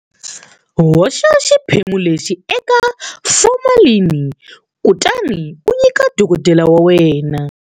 Hoxa xiphemu lexi eka formalini kutani u nyika dokodela wa wena.